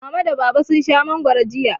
Mama da Baba sun sha mangwaro jiya.